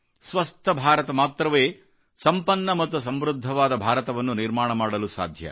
ಸ್ವಸ್ಥ ಭಾರತ ಭಾರತೀಯರಿಂದ ಮಾತ್ರವೇ ಸಂಪನ್ನ ಮತ್ತು ಸಮೃದ್ಧವಾದ ಭಾರತವನ್ನು ನಿರ್ಮಾಣ ಮಾಡಲು ಸಾಧ್ಯ